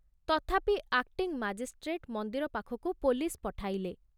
ତଥାପି acting magistrate ମନ୍ଦିର ପାଖକୁ ପୋଲିସ ପଠାଇଲେ।